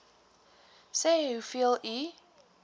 sê hoeveel u